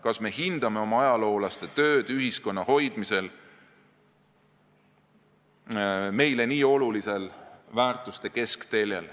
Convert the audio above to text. Kas me hindame oma ajaloolaste tööd ühiskonna hoidmisel meile nii olulisel väärtuste keskteljel?